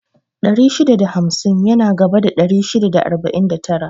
Ɗari shida da hamsin yana gaba da ɗari shida da arba'in da tara